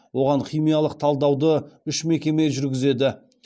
оған химиялық талдауды үш мекеме жүргізеді